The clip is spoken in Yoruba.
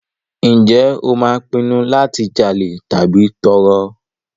Ǹjẹ́ o máa pinnu láti jalè tàbí tọrọ?